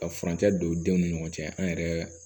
Ka furancɛ don denw ni ɲɔgɔn cɛ an yɛrɛ